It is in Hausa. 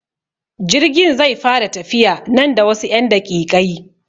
Jirgin zai fara tafiya nan da wasu 'yan daƙiƙai.